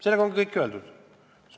Sellega ongi kõik öeldud.